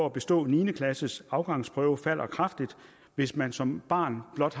at bestå niende klasses afgangsprøve falder kraftigt hvis man som barn har blot